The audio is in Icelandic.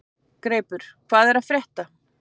Greipur, hvað er að frétta?